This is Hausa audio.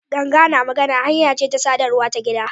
Ganga na magana hanya ce ta sadarwa ta gida.